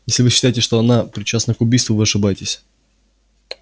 если вы считаете что она причастна к убийству вы ошибаетесь